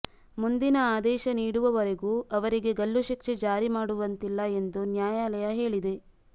ಮುಂದಿನ ಆದೇಶ ನೀಡುವವರೆಗೂ ಅವರಿಗೆ ಗಲ್ಲುಶಿಕ್ಷೆ ಜಾರಿ ಮಾಡುವಂತಿಲ್ಲ ಎಂದು ನ್ಯಾಯಾಲಯ ಹೇಳಿದೆ